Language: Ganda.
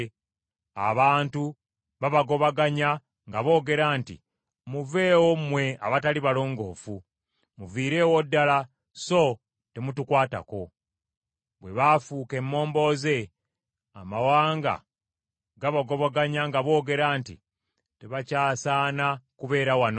Abantu baabagobaganya nga boogera nti, “Muveewo, mmwe abatali balongoofu! Muviireewo ddala, so temutukwatako!” Bwe baafuuka emmombooze, amawanga gabagobaganya nga boogera nti, “Tebakyasaana kubeera wano.”